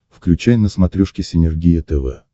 включай на смотрешке синергия тв